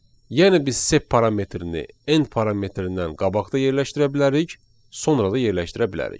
Yəni biz sep parametrini n parametindən qabaqda yerləşdirə bilərik, sonra da yerləşdirə bilərik.